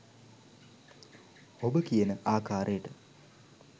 ඔබ කියන ආකාරයට